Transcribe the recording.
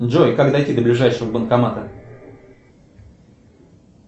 джой как дойти до ближайшего банкомата